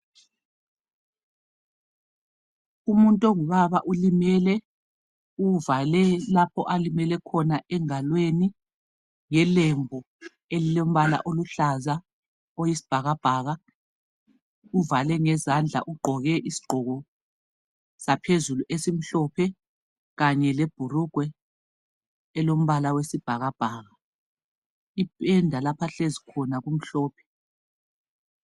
Umuntu ongubaba ulimele uvale lapho alimele khona engalweni ngelembu elilombala oluhlahlaza oyisbhakabhaka uvale ngezandla ugqoke isigqoko saphezulu esimhlophe lebhulugwe elombala wesibhakabhaka, ipenda lapho ahlezi khona kumhlophe.